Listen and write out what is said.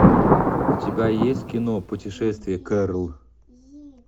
у тебя есть кино путешествие кэрол